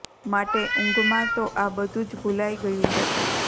માટે ઊંઘમાં તો આ બધું જ ભુલાઈ ગયું હતું